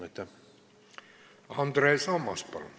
Aitäh, lugupeetav eesistuja!